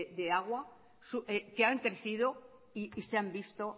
de agua que han crecido y se han visto